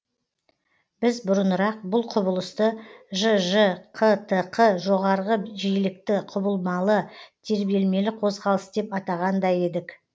біз бұрынырақ бұл құбылысты жж қтқ жоғарғы жиілікті құбылмалы тербелмелі қозқалыс деп атаған да едік